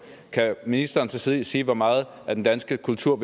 kan ministeren så sige sige hvor meget af den danske kultur